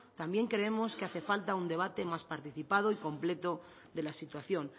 también creemos que hace falta un debate más participado y completo de la situación